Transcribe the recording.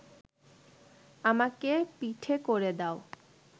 আমাকে পিঠে করে দাও।’